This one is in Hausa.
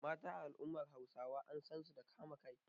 Mata a al’ummar Hausawa an san su da kama kai.